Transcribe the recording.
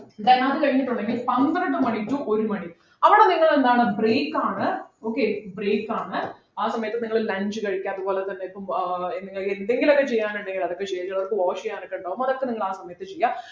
then അത് കഴിഞ്ഞിട്ടുണ്ടെങ്കിൽ പന്ത്രണ്ടു മണി to ഒരു മണി അവിടെ നിങ്ങൾ എന്താണ് break ആണ് okay break ആണ് ആ സമയത്ത് നിങ്ങൾ lunch കഴിക്കാം പിന്നെ അതുപോലെ ആഹ് ഏർ നിങ്ങൾ എന്തെങ്കിലും ഒക്കെ ചെയ്യാൻ ഉണ്ടെങ്കിൽ അതൊക്കെ ചെയ്യുവ നിങ്ങക്ക് wash ചെയ്യാനൊക്കെണ്ടാകും അതൊക്കെ നിങ്ങൾ ആ സമയത്ത് ചെയ്യുക